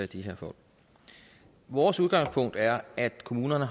de her folk vores udgangspunkt er at kommunerne